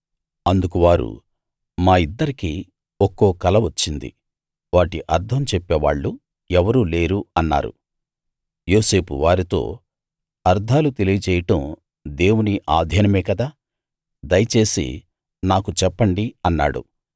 అందుకు వారు మా ఇద్దరికీ ఒక్కో కల వచ్చింది వాటి అర్థం చెప్పేవాళ్ళు ఎవరూ లేరు అన్నారు యోసేపు వారితో అర్థాలు తెలియచేయడం దేవుని అధీనమే గదా దయచేసి నాకు చెప్పండి అన్నాడు